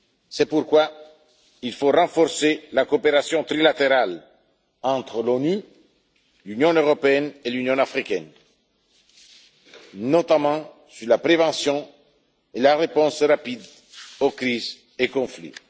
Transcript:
C'est pourquoi il faut renforcer la coopération trilatérale entre l'ONU, l'Union européenne et l'Union africaine, notamment sur la prévention et la réponse rapide aux crises et aux conflits.